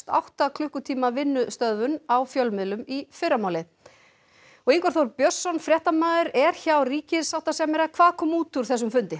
átta klukkutíma vinnustöðvun á fjölmiðlum í fyrramálið Ingvar Þór Björnsson fréttamaður er hjá ríkissáttasemjara hvað kom út úr þessum fundi